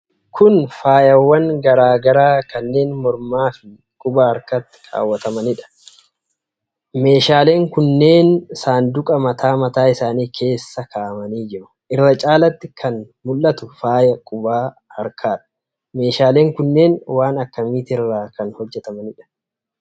Kun faayawwan garaa garaa kanneen mormaa fi quba harkaatti kaawwatamanidha. Meedhaaleen kunneen saanduqa mataa mataa isaanii keessa kaa'amanii jiru. Irra caalatti kan mul'atu faaya quba harkaadha. Meeshaaleen kunneen waan akkamiitirraa kan hojjatamaniidha?